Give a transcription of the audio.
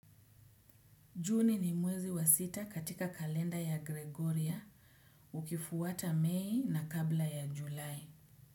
Juni ni mwezi wa sita katika kalenda ya Gregoria ukifuata Mei na kabla ya Julai.